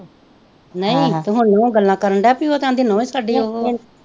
ਨਹੀਂ ਤੇ ਹੁਣ ਨਹੁੰ ਗੱਲ ਕਰਨ ਉਹ ਕਹਿੰਦੀ ਨਹੁੰ ਹੀ ਸਾਡੀ ਉਹ ਹੈ